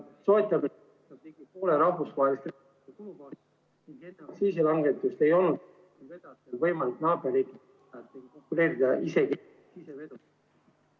... enne aktsiisilangetust ei olnud võimalik naaberriikidega konkureerida isegi sisevedudel.